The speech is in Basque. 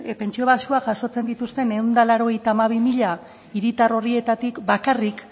pentsio baxuak jasotzen dituzten ehun eta laurogeita hamabi mila hiritar horietatik bakarrik